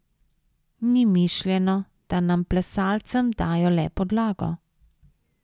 Ni mišljeno, da nam plesalcem dajo le podlago.